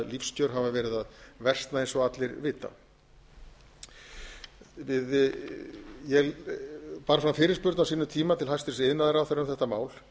lífskjör hafa verið að versna eins og allir vita ég bar fram fyrirspurn á sínum tíma til hæstvirts iðnaðarráðherra um þetta mál